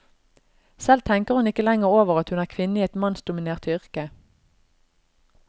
Selv tenker hun ikke lenger over at hun er kvinne i et mannsdominert yrke.